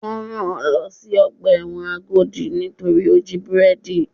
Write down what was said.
Wọ́n rán-an lọ sí ọgbà ẹ̀wọ̀n Agodi torí ó jí búrẹ́dì.